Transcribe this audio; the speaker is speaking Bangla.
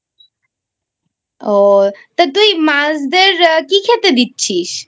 ও তা তুই মাছদের কি খেতে দিচ্ছিস?